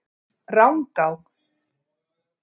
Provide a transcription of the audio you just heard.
Rangá